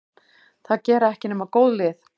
Það gera ekki nema góð lið.